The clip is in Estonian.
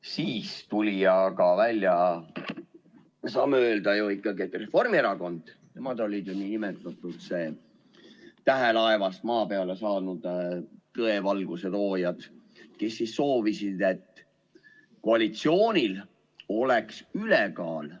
Siis tuli aga välja, me saame öelda, Reformierakond, nemad olid ju tähelaevast maa peale saanud tõevalguse loojad, kes soovisid, et koalitsioonil oleks ülekaal.